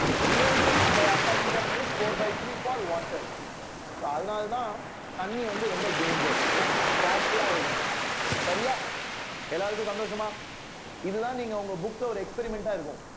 real depth by apparent depth is four by three for water so அதனாலதான் தண்ணி வந்து ரொம்ப danger careful ஆ இருக்கணும் சரியா எல்லாருக்கும் சந்தோஷமா இதுதான் நீங்க உங்க book ல ஒரு experiment ஆ இருக்கும்